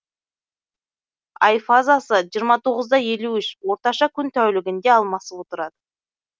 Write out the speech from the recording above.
ай фазасы жиырма тоғыз да елу үш орташа күн тәулігінде алмасып отырады